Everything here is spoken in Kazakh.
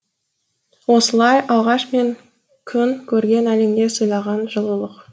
осылай алғаш мен күн көрген әлемге сыйлаған жылылық